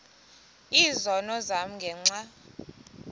izono zam ngenxa